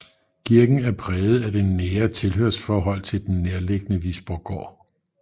Kirken er præget af det nære tilhørsforhold til den nærliggende Visborggård